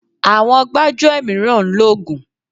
Àwọn gbájúẹ̀ mìíràn ń lògùn.